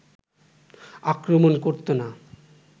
আক্রমণ করতো না